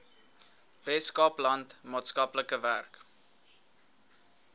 weskaapland maatskaplike werk